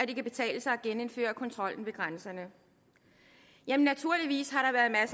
det kan betale sig at genindføre kontrollen ved grænserne jamen naturligvis